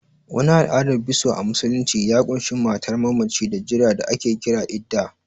Wani al'adar biso a musulunci ya ƙunshi matar mammacin da jira da ake kira Iddah